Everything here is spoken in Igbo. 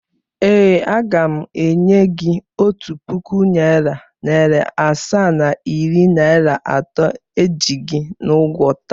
Ee, aga m enye gị otu puku naịra, naịra asaa na iri naịra atọ iji gị n’ụgwọ taa